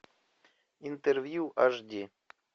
интервью аш ди